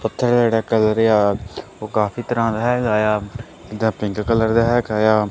ਓੱਥੇ ਜਿਹੜਾ ਕਲਰ ਆ ਓਹ ਕਾਫੀ ਤਰਹਾਂ ਦਾ ਹੈਗਾ ਯਾ ਇਹਦਾ ਪਿੰਕ ਕਲਰ ਦਾ ਹੈਗਾ ਯਾ।